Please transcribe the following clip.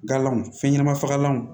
Galaw fɛn ɲɛnama fagalanw